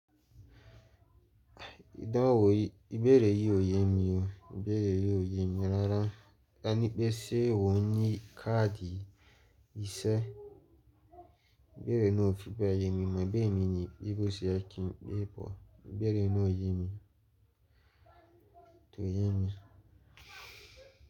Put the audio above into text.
Idánwò ìbéèrè yìí ò yẹ́ mi o. Ìbéèrè yìí ò yẹ́ mi rárá. Taní pé sé ò ní káàdì ìṣe? Ìbéèrè náà ò fi bee ye mi mimọ̀ bóyá èmi ni pẹ́ bóse ye kí n pè pọ̀. Ìbéèrè náà ò yẹ́ mi, tò yẹ́ mi.